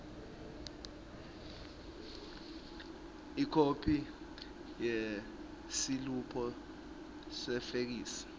ikhophi yesiliphu sefeksi